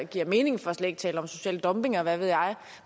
giver mening for slet ikke at tale om social dumping og hvad ved jeg